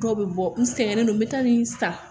Dɔw bɛ bɔ n sɛgɛn don n bɛ taa nin san